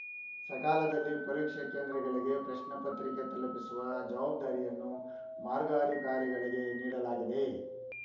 ಸಕಾಲದಲ್ಲಿ ಪರೀಕ್ಷಾ ಕೇಂದ್ರಗಳಿಗೆ ಪ್ರಶ್ನೆಪತ್ರಿಕೆ ತಲುಪಿಸುವ ಜವಾಬ್ದಾರಿಯನ್ನು ಮಾರ್ಗಾಧಿಕಾರಿಗಳಿಗೆ ನೀಡಲಾಗಿದೆ